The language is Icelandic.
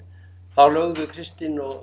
þá lögðu Kristinn og